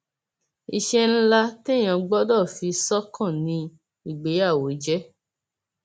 iṣẹ ńlá téèyàn gbọdọ fi sọkàn ni ìgbéyàwó jẹ